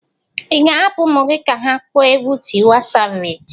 Ị ga-ahapụ ụmụ gị ka ha kpọọ egwu Tiwa Savage?